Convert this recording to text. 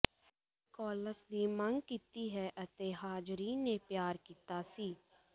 Nicholas ਦੀ ਮੰਗ ਕੀਤੀ ਹੈ ਅਤੇ ਹਾਜ਼ਰੀਨ ਨੇ ਪਿਆਰ ਕੀਤਾ ਸੀ